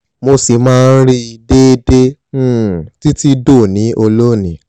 mo ṣì máa ń rí i déédéé um títí dòní olónìí